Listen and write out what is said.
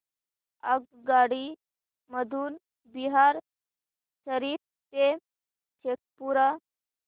आगगाडी मधून बिहार शरीफ ते शेखपुरा